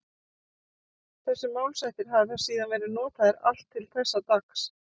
Þessir málshættir hafa síðan verið notaðir allt til þessa dags.